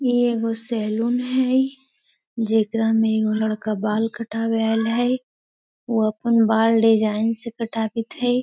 इ एगो सैलून हई एकरा माँ बड़का बाल कटावत आइल है उ आपन डिज़ाइन से बाल कटावत हई।